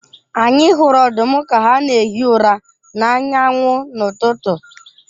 Anyi hụrụ ọdụm ka ha na-ehi ụra n’anya anwụ n’ụtụtụ.